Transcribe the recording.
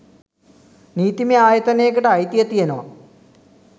නීතිමය ආයතනයකට අයිතිය තියෙනව.